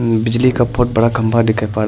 बिजली का बहुत बड़ा खम्मा दिखाइ पड़--